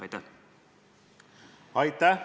Aitäh!